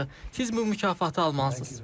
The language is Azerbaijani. Siz bu mükafatı almalısınız.